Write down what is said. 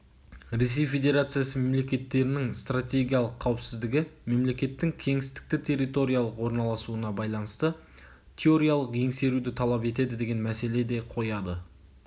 ресей федерациясы мемлекеттерінің стратегиялық қауіпсіздігі мемлекеттің кеңістікті-территориялық орналасуына байланысты теориялық еңсеруді талап етеді деген мәселе де қояды